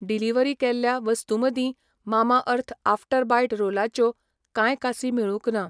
Delivery केल्ल्या वस्तूं मदीं मामाअर्थ आफ्टर बायट रोलाच्यो कांय कासी मेळूंंक ना.